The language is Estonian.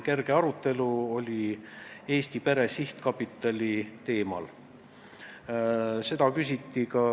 Kerge arutelu oli Eesti Pere Sihtkapitali teemal.